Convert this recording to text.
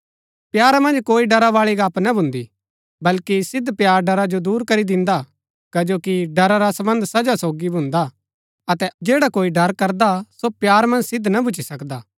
प्यारा मन्ज कोई डरा बाळी गप्‍प ना भुन्‍दीआ बल्कि सिद्व प्‍यार डरा जो दूर करी दिन्दा कजो कि डरा रा सम्बन्ध सजा सोगी भुन्दा अतै जैडा कोई डर करदा सो प्यारा मन्ज सिद्व ना भुच्‍ची सकदा